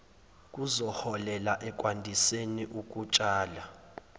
kuzoholela ekwandiseni ukutshala